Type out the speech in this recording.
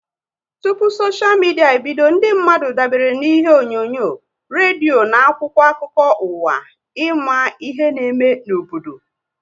Tụpụ soshia midia ebido, ndị mmadụ dabere na ihe onyonyo, redio na akwụkwọ akụkọ ụwa ịma ihe n'eme n'obodo